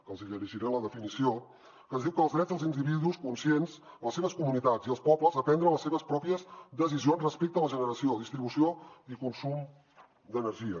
que els hi llegiré la definició que ens diu que els drets dels individus conscients les seves comunitats i els pobles a prendre les seves pròpies decisions respecte a la generació distribució i consum d’energia